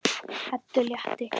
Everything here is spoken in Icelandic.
Eddu létti.